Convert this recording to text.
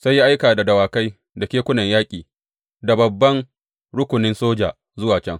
Sai ya aika da dawakai da kekunan yaƙi da babban rukunin soja zuwa can.